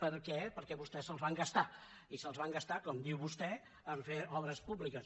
per què perquè vostès se’ls van gastar i se’ls van gastar com diu vostè a fer obres públiques